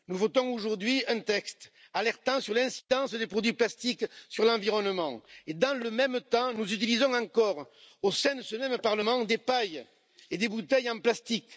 Nous votons aujourd'hui un texte alertant sur l'incidence des produits plastiques sur l'environnement et, dans le même temps, nous utilisons encore au sein de ce Parlement des pailles et des bouteilles en plastique.